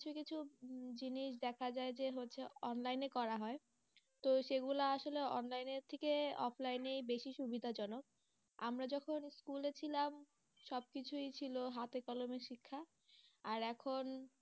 উম জিনিস দেখা যায় যে হচ্ছে online এ করা হয় তো সেগুলা আসলে online এর থেকে offline এই বেশি সুবিধাজনক আমরা যখন বলেছিলাম, সব কিছুই ছিল হাতে কলমে শিক্ষা আর এখন